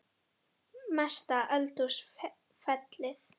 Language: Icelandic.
Mesta eldhús feilið?